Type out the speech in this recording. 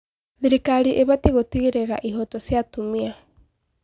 Thirikari ĩbatiĩ gũtigĩrĩra ihooto cia atumia.